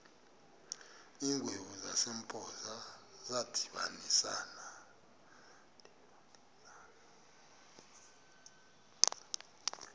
iingwevu zasempoza zadibanisana